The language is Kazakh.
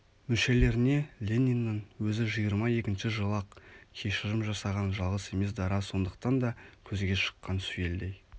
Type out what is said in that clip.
мүшелеріне лениннің өзі жиырма екінші жылы-ақ кешірім жасаған жалғыз емес дара сондықтан да көзге шыққан сүйелдей